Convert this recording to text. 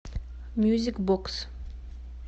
мьюзик бокс